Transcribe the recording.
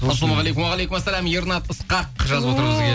ассалаумағалейкум уағалейкумассалам ернат ысқақ жазып отыр бізге